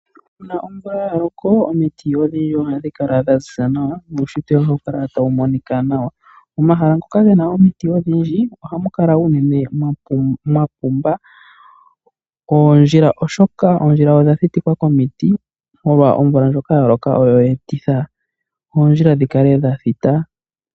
Uuna omvula yaloko omiti ohadhi kala dhaziza nawa nuushintwe ohawu kala tawu monika nawa. Omahala ngoka ge na omiti odhindji ohamu kala unene mwapumbwa oondjila oshoka oondjila odha thitikwa komiti molwa omvula ndjoka yaloka oyo yeetitha oondjila dhi kale dhathita.